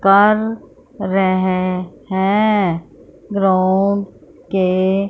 कर रहे हैं ग्राउंड के--